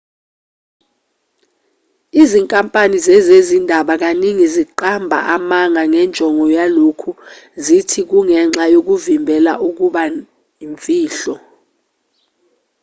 izinkampani zezezindaba kaningi ziqamba amanga ngenjongo yalokhu zithi kungenxa yokuvimbela ukuba imfihlo